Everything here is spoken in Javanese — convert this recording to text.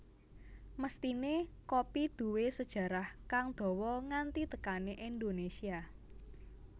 Mesthiné kopi duwé sejarah kang dawa nganti tekané Indonésia